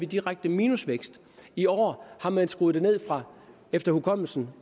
direkte minusvækst i år har man skruet det ned efter efterkommelse